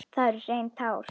Þetta eru hrein tár.